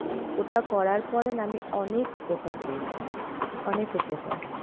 ওটা করার পরে না অনেক উপকার পেয়েছি, অনেক উপকার,